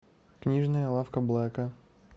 книжная лавка блэка